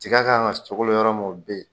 Tiga k' kan ka sogolo yɔrɔ mun o bɛ yen.